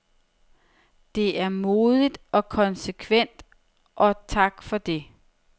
Det er modigt og konsekvent, og tak for det.